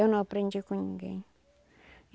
Eu não aprendi com ninguém.